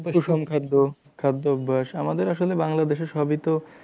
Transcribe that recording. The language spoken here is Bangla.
সুষম খাদ্য খাদ্য অভ্যেস আমাদের আসলে বাংলাদেশে সবই তো